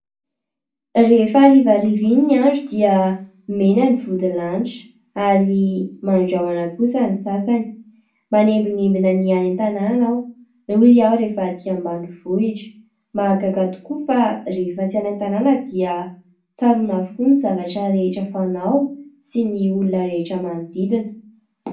Rehefa harivariva iny ny andro dia mena ny vodilanitra ary mandrahona kosa ny sasany. Manembinembina ny any an-tanàna aho, hoy aho rehefa atỳ ambanivohitra. Mahagaga tokoa fa rehefa tsy any an-tanàna dia tsaroana avokoa ny zavatra rehetra fanao sy ny olona rehetra manodidina.